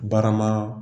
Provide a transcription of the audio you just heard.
Barama